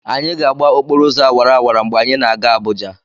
Anyị ga-agba okporo ụzọ awara awara mgbe anyị na-aga Abụja.